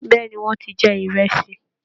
Bẹ̀ẹ́ni, wọn ti jẹ ìrẹsì.